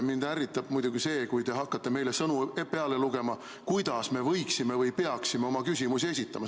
Mind ärritab muidugi see, kui te hakkate meile sõnu peale lugema ja ütlema, kuidas me peaksime oma küsimusi esitama.